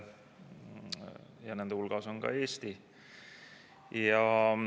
Ja nende hulgas on ka Eesti.